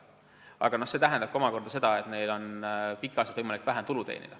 Aga see tähendab omakorda seda, et neil on pikki aastaid võimalik vähem tulu teenida.